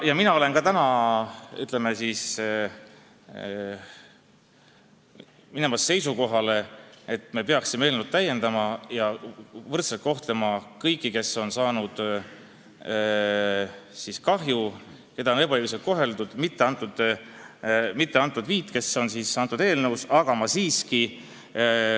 Ka mina olen täna asumas seisukohale, et me peaksime eelnõu täiendama ja võrdselt kohtlema kõiki, kes on kahju kannatanud, keda on ebaõiglaselt koheldud, mitte ainult neid viit, keda eelnõu praegu puudutab.